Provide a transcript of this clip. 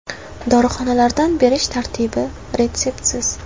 Dorixonalardan berish tartibi – retseptsiz.